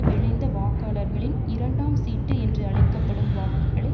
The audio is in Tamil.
விழைந்த வாக்காளர்களின் இரண்டாம் சீட்டு என்று அழைக்க படும் வாக்குகளை